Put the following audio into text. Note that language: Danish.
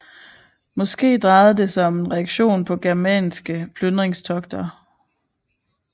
Måske drejede det sig om en reaktion på germanske plyndringstogter